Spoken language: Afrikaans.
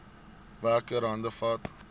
werker hande vat